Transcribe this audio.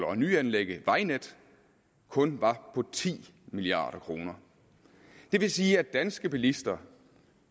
og nyanlæg af vejnet kun var på ti milliard kroner det vil sige at de danske bilister